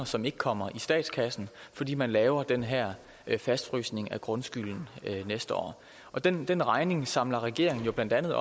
som ikke kommer i statskassen fordi man laver den her fastfrysning af grundskylden næste år og den den regning samler regeringen op blandt andet